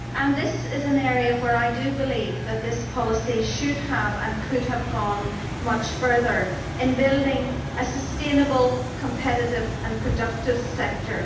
This is an area where I do believe that this policy should have and could have gone much further in building a sustainable, competitive and productive sector.